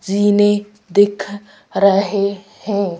जीने दिख रहे हैं।